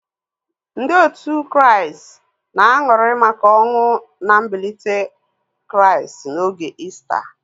Ndị otu Kraịst na-aṅụrị maka ọnwụ na mbilite Kraịst n'oge Ista.